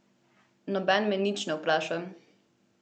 Nobeden me nič ne vpraša!